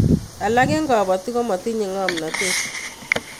Alak eng kobotik komotinyei ngomnatet